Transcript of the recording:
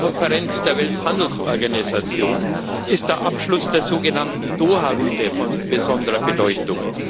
11. Konferenz der Welthandelsorganisation ist der Abschluss der sogenannten Doha Runde von besonderer Bedeutung.